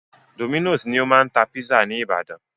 Dominos ni o máa ń tá pizza ní ìbàdàn.